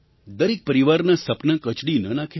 દરેક પરિવારનાં સપનાં કચડી ન નાખે